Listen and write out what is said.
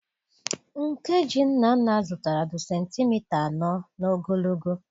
nke ji Nnanna zụtara dị sentimita anọ n'ogologo.